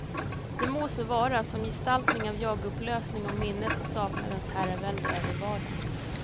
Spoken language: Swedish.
Det må så vara, som gestaltning av jagupplösning och minnets och saknadens herravälde över vardagen.